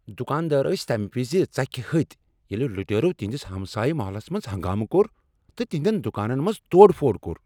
دکاندار ٲسۍ تمہ وز ژکھِ ہتۍ ییٚلہ لُٹیرو تہنٛدس ہمسایہ محلس منٛز ہنگامہٕ کوٚر تہٕ تہنٛدین دکانن منٛز توڑ پھوڑ کٔر۔